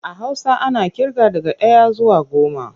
A Hausa ana ƙirga daga ɗaya zuwa goma.